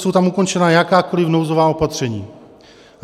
Jsou tam ukončena jakákoliv nouzová opatření.